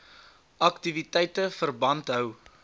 aktiwiteite verband hou